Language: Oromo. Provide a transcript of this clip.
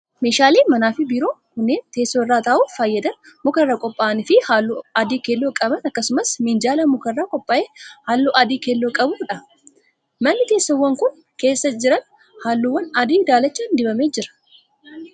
Meeshaaleen manaa fi biiroo kunneen, teessoo irra taa'uuf fayyadan muka irraa qopha'an fi haalluu adii keelloo qaban akkasumas minjaala muka irraa qophaa'e haalluu adii keelloo qabuu dha. Manni teessoowwan kun keessa jiran haalluu adii daalacha dibamee jira.